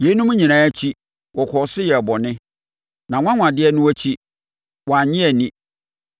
Yeinom nyinaa akyi, wɔkɔɔ so yɛɛ bɔne; nʼanwanwadeɛ akyi no, wɔannye anni.